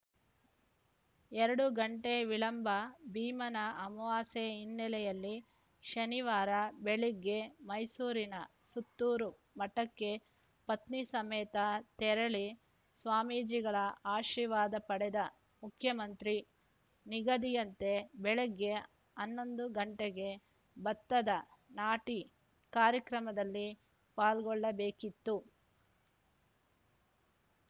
ಎರಡು ಗಂಟೆ ವಿಳಂಬ ಭೀಮನ ಅಮವಾಸ್ಯೆ ಹಿನ್ನೆಲೆಯಲ್ಲಿ ಶನಿವಾರ ಬೆಳಗ್ಗೆ ಮೈಸೂರಿನ ಸುತ್ತೂರು ಮಠಕ್ಕೆ ಪತ್ನಿ ಸಮೇತ ತೆರಳಿ ಸ್ವಾಮೀಜಿಗಳ ಆಶೀರ್ವಾದ ಪಡೆದ ಮುಖ್ಯಮಂತ್ರಿ ನಿಗದಿಯಂತೆ ಬೆಳಗ್ಗೆ ಹನ್ನೊಂದು ಗಂಟೆಗೆ ಭತ್ತದ ನಾಟಿ ಕಾರ್ಯಕ್ರಮದಲ್ಲಿ ಪಾಲ್ಗೊಳ್ಳಬೇಕಿತ್ತು